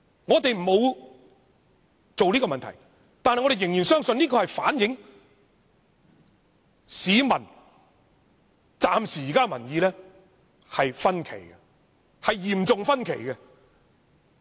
我們沒有這樣問，但我們仍然相信調查結果反映暫時而言，民意有所分歧，民意是嚴重分歧的。